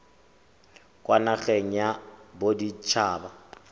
kwa nageng ya bodit haba